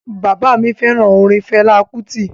Baba mi feran orin Fela Kuti.